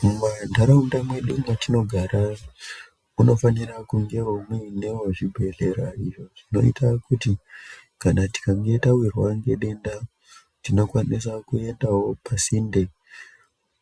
Mumandaraunda mwedu mwatinogara munofanira kunge muinewo zvibhehlera izvo zvinoita kuti tikange tawirwa ngedenda tinokwanisawo kuenda pasinde